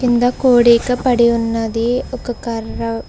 కింద కోడీక పడి ఉన్నది ఒక కర్ర--